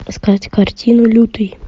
искать картину лютый